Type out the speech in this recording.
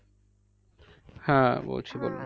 হ্যাঁ বলছি